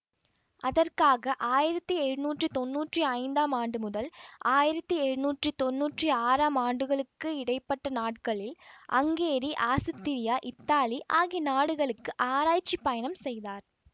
அதற்காக ஆயிரத்தி எழுநூற்றி தொன்னூற்றி ஐந்தாம் ஆண்டு முதல் ஆயிரத்தி எழுநூற்றி தொன்னூற்றி ஆறாம் ஆண்டுகளுக்கு இடை பட்ட நாட்களில் அங்கேரி ஆசுத்திரியா இத்தாலி ஆகிய நாடுகளுக்கு ஆராய்ச்சி பயணம் செய்தார்